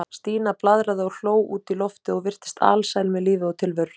Stína blaðraði og hló út í loftið og virtist alsæl með lífið og tilveruna.